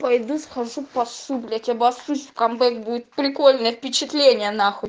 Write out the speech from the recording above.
пойду схожу посуду блять обоссусь в камбэк будет прикольно впечатление нахуй